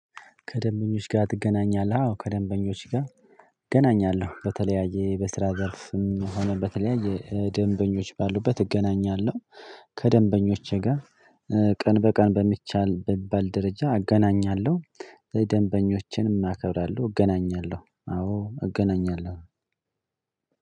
ከደንበኞች ጋር ትገናኛለህ? አዎ ከደንበኞች ጋር እገናኛለሁ በተለያየ በስራ ዘርፍም ሆነ በተለያየ ደንበኞች ባሉበት እገናኛለሁ። ከደንበኞቼ ጋር ቀን በቀን በሚቻል በሚባል ደረጃ እገናኛለሁ። ደንበኞችንም አከብራለሁ እገናኛለሁ አዎ እገናኛለሁ።